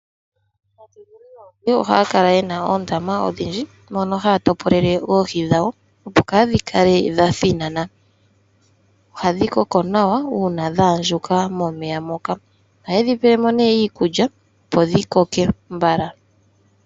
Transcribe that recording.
Aatekuli yoohi ohaya kala yena oondama odhindji mono haya topolele oohi dhawo opo kadhi kale dha thinana. Ohadhi koko nawa una dha andjuka momeya moka. Ohayedhi pelemo ne iikulya opo dhi koke mbala.